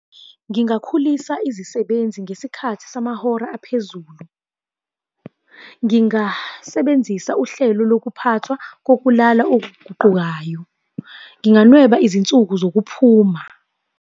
Ngingakhulisa izisebenzi ngesikhathi samahora aphezulu. Ngingasebenzisa uhlelo lokuphathwa kokulala okuguqukayo. Nginganweba izinsuku zokuphuma.